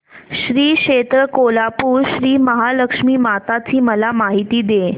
श्री क्षेत्र कोल्हापूर श्रीमहालक्ष्मी माता ची मला माहिती दे